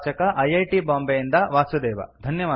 ಪ್ರವಾಚಕ I I T ಬಾಂಬೆಯಿಂದ ವಾಸುದೇವ